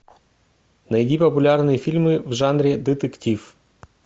найди популярные фильмы в жанре детектив